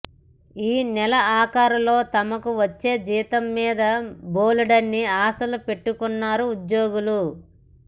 ఈ నెలాఖరులో తమకు వచ్చే జీతం మీద బోలెడన్ని ఆశలు పెట్టుకున్నారు ఉద్యోగులు